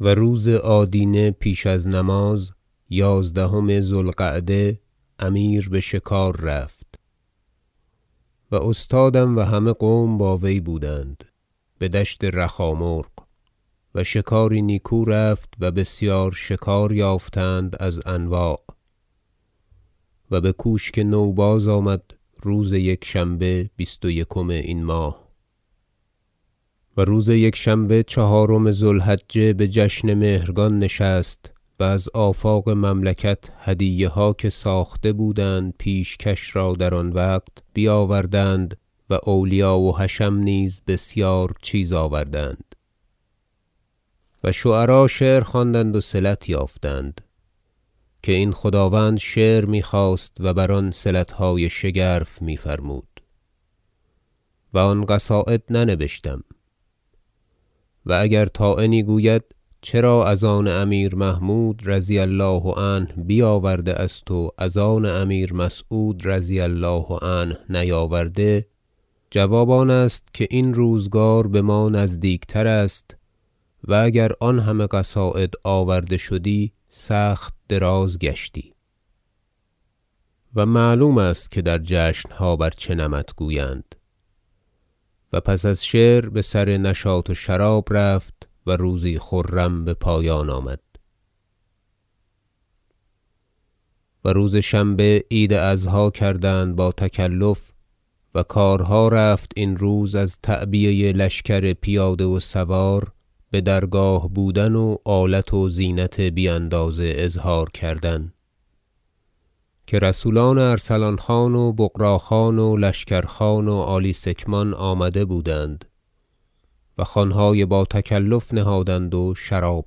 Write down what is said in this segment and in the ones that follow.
و روز آدینه پیش از نماز یازدهم ذو القعده امیر بشکار رفت و استادم و همه قوم با وی بودند بدشت رخامرغ و شکاری نیکو رفت و بسیار شکار یافتند از انواع و بکوشک نو بازآمد روز یکشنبه بیست و یکم این ماه و روز یکشنبه چهارم ذو الحجه بجشن مهرگان نشست و از آفاق مملکت هدیه ها که ساخته بودند پیشکش را در آن وقت بیاوردند و اولیا و حشم نیز بسیار چیز آوردند و شعرا شعر خواندند و صلت یافتند که این خداوند شعر میخواست و بر آن صلتهای شگرف میفرمود و آن قصاید ننبشتم و اگر طاعنی گوید چرا از آن امیر محمود رضی الله عنه بیاورده است و از آن امیر مسعود رضی الله عنه نیاورده جواب آن است که این روزگار بما نزدیکتر است و اگر آن همه قصاید آورده شدی سخت دراز گشتی و معلوم است که در جشنها بر چه نمط گویند و پس از شعر بسر نشاط و شراب رفت و روزی خرم بپایان آمد و روز شنبه عید اضحی کردند با تکلف و کارها رفت این روز از تعبیه لشکر پیاده و سوار بدرگاه بودن و آلت و زینت بی اندازه اظهار کردن که رسولان ارسلان خان و بغرا خان و لشکر خان والی سکمان آمده بودند و خوانهای با تکلف نهادند و شراب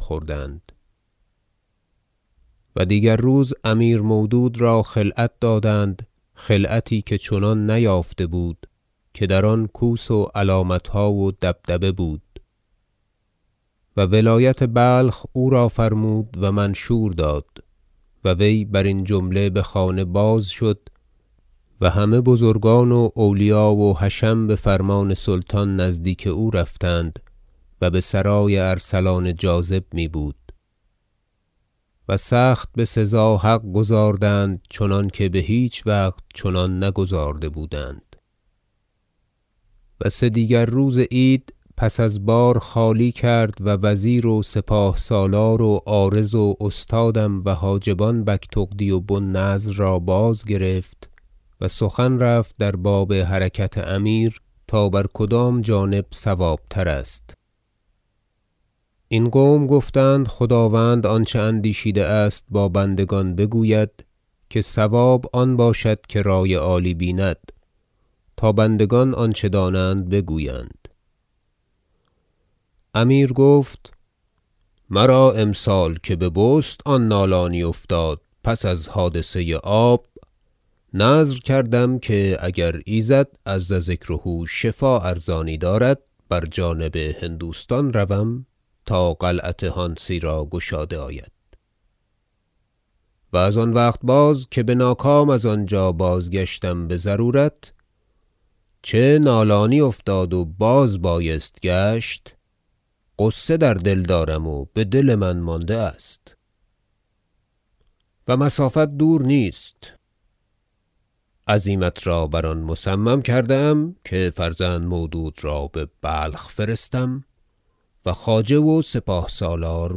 خوردند و روز دیگر امیر مودود را خلعت دادند خلعتی که چنان نیافته بود که در آن کوس و علامتها و دبدبه بود و ولایت بلخ او را فرمود و منشور داد و وی برین جمله بخانه باز شد و همه بزرگان و اولیا و حشم بفرمان سلطان نزدیک او رفتند- و بسرای ارسلان جاذب میبود- و سخت بسزا حق گزاردند چنانکه بهیچ وقت چنان نگزارده بودند رای زدن امیر مسعود در باب غزو هانسی و سدیگر روز عید پس از بار خالی کرد و وزیر و سپاه سالار و عارض و استادم و حاجبان بگتغدی و بو النضر را بازگرفت و سخن رفت در باب حرکت امیر تا بر کدام جانب صوابتر است این قوم گفتند خداوند آنچه اندیشیده است با بندگان بگوید که صواب آن باشد که رای عالی بیند تا بندگان آنچه دانند بگویند امیر گفت مرا امسال که به بست آن نالانی افتاد پس از حادثه آب نذر کردم که اگر ایزد عز ذکره شفا ارزانی دارد بر جانب هندوستان روم تا قلعت هانسی را گشاده آید و از آن وقت باز که بناکام از آنجا بازگشتم بضرورت چه نالانی افتاد و باز بایست گشت غصه در دل دارم و بدل من مانده است و مسافت دور نیست عزیمت را بر آن مصمم کرده ام که فرزند مودود را ببلخ فرستم و خواجه و سپاه سالار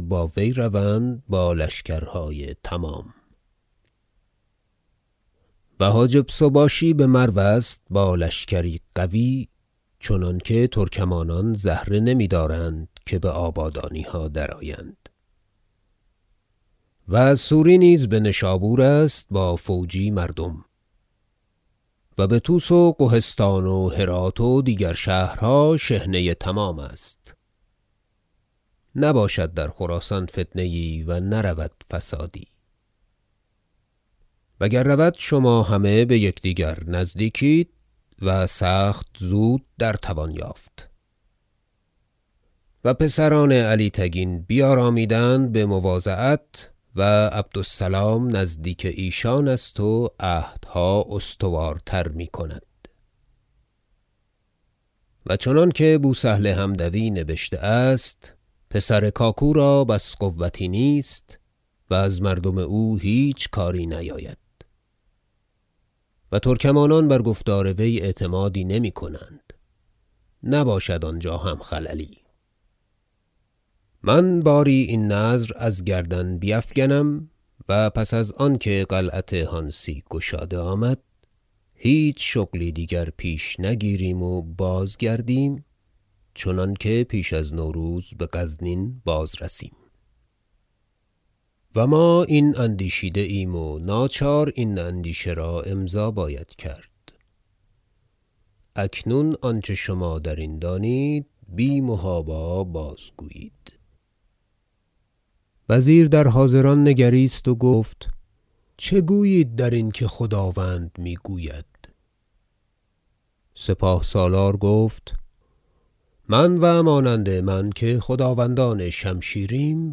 با وی روند با لشکرهای تمام و حاجب سباشی بمرو است با لشکری قوی چنانکه ترکمانان زهره نمیدارند که بآبادانیها درآیند و سوری نیز بنشابور است با فوجی مردم و بطوس و قهستان و هرات و دیگر شهرها شحنه تمام است نباشد در خراسان فتنه یی و نرود فسادی و گر رود شما همه بیکدیگر نزدیک اید و سخت زود در توان یافت و پسران علی تگین بیارامیدند بمواضعت و عبد السلام نزدیک ایشان است و عهدها استوارتر میکند و چنانکه بوسهل حمدوی نبشته است پسر کاکو را بس قوتی نیست و از مردم او هیچ کاری نیاید و ترکمانان بر گفتار وی اعتمادی نمیکنند نباشد آنجا هم خللی من باری این نذر از گردن بیفگنم و پس از آنکه قلعت هانسی گشاده آمد هیچ شغلی دیگر پیش نگیریم و بازگردیم چنانکه پیش از نوروز بغزنین بازرسیم و ما این اندیشیده ایم و ناچار این اندیشه را امضا باید کرد اکنون آنچه شما درین دانید بی محابا بازگویید وزیر در حاضران نگریست گفت چه گویید درین که خداوند میگوید سپاه سالار گفت من و مانند من که خداوندان شمشیریم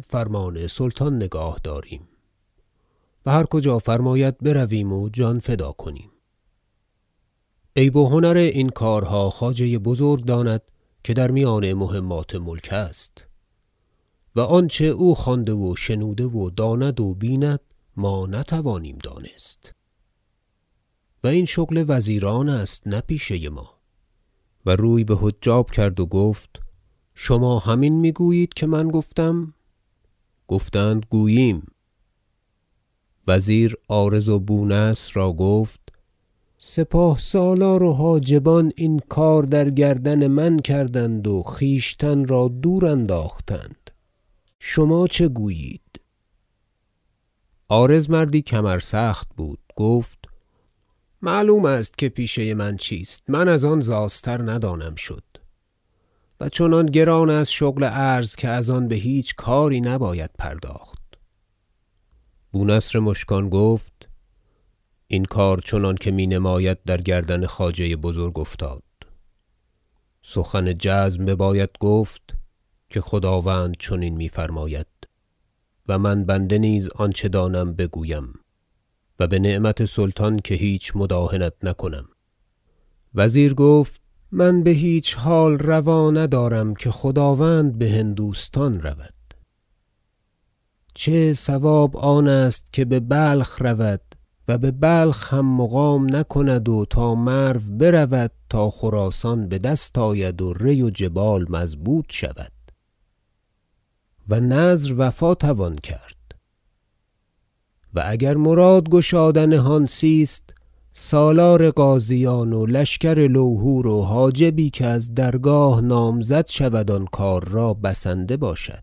فرمان سلطان نگاه داریم و هر کجا فرماید برویم و جان فدا کنیم عیب و هنر این کارها خواجه بزرگ داند که در میان مهمات ملک است و آنچه او خوانده و شنوده و داند و بیند ما نتوانیم دانست و این شغل وزیران است نه پیشه ما و روی بحجاب کرد و گفت شما همین میگویید که من گفتم گفتند گوییم وزیر عارض و بونصر را گفت سپاه سالار و حاجبان این کار در گردن من کردند و خویشتن را دور انداختند شما چه گویید عارض مردی کمر سخت بود گفت معلوم است که پیشه من چیست من از آن زاستر ندانم شد و چنان گران است شغل عرض که از آن بهیچ کاری نباید پرداخت بونصر مشکان گفت این کار چنانکه مینماید در گردن خواجه بزرگ افتاد سخن جزم بباید گفت که خداوند چنین میفرماید و من بنده نیز آنچه دانم بگویم و بنعمت سلطان که هیچ مداهنت نکنم وزیر گفت من بهیچ حال روا ندارم که خداوند بهندوستان رود چه صواب آن است که ببلخ رود و ببلخ هم مقام نکند و تا مرو برود تا خراسان بدست آید و ری و جبال مضبوط شود و نذر وفا توان کرد و اگر مراد گشادن هانسی است سالار غازیان و لشکر لوهور و حاجبی که از درگاه نامزد شود آن کار را بسنده باشد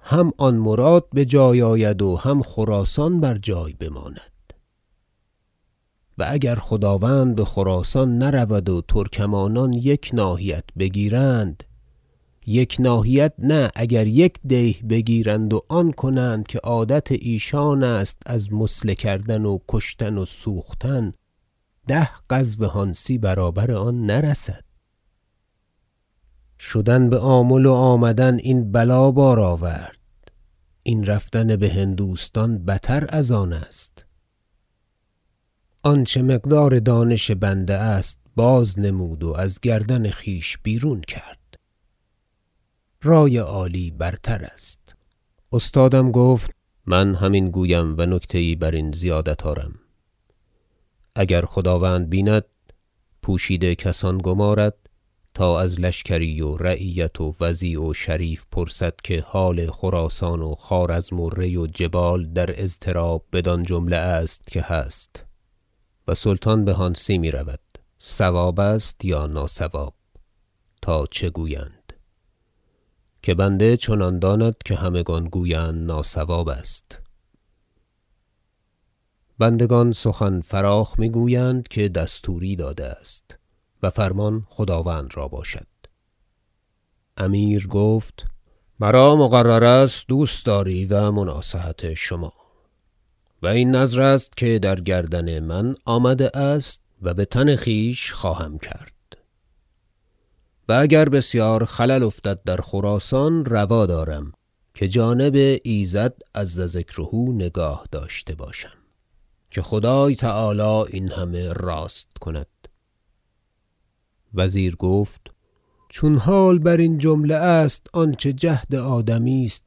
هم آن مراد بجای آید و هم خراسان بر جای بماند و اگر خداوند بخراسان نرود و ترکمانان یک ناحیت بگیرند یک ناحیت نه اگر یک دیه بگیرند و آن کنند که عادت ایشان است از مثله کردن و کشتن و سوختن ده غزو هانسی برابر آن نرسد شدن بآمل و آمدن این بلا بار آورد این رفتن بهندوستان بتر از آن است آنچه مقدار دانش بنده است بازنمود و از گردن خویش بیرون کرد رای عالی برتر است استادم گفت من همین گویم و نکته یی برین زیادت آرم اگر خداوند بیند پوشیده کسان گمارد تا از لشکری و رعیت و وضیع و شریف پرسد که حال خراسان و خوارزم و ری و جبال در اضطراب بدان جمله است که هست و سلطان بهانسی میرود صواب است یا ناصواب تا چه گویند که بنده چنان داند که همگان گویند ناصواب است بندگان سخن فراخ میگویند که دستوری داده است و فرمان خداوند را باشد امیر گفت مرا مقرر است دوستداری و مناصحت شما و این نذر است که در گردن من آمده است و بتن خویش خواهم کرد و اگر بسیار خلل افتد در خراسان روا دارم که جانب ایزد عز ذکره نگاه داشته باشم که خدای تعالی این همه راست کند وزیر گفت چون حال برین جمله است آنچه جهد آدمی است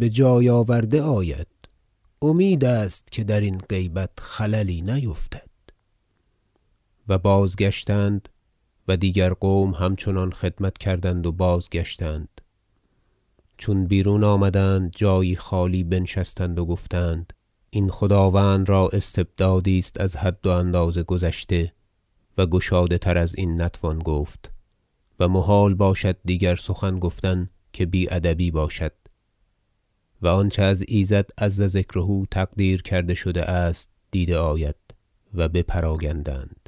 بجای آورده آید امید است که درین غیبت خللی نیفتد و بازگشتند و دیگر قوم همچنان خدمت کردند و بازگشتند چون بیرون آمدند جایی خالی بنشستند و گفتند این خداوند را استبدادی است از حد و اندازه گذشته و گشاده تر ازین نتوان گفت و محال باشد دیگر سخن گفتن که بی ادبی باشد و آنچه از ایزد عز ذکره تقدیر کرده شده است دیده آید و بپراگندند